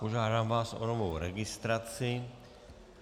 Požádám vás o novou registraci.